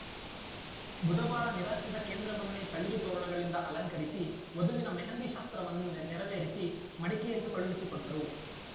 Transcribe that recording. ಬುಧವಾರ ನಿರಾಶ್ರಿತ ಕೇಂದ್ರವನ್ನೇ ತಳಿರು ತೋರಣಗಳಿಂದ ಅಲಂಕರಿಸಿ ವಧುವಿನ ಮೆಹಂದಿ ಶಾಸ್ತ್ರವನ್ನು ನೆರವೇರಿಸಿ ಮಡಿಕೇರಿಗೆ ಕಳುಹಿಸಿಕೊಟ್ಟರು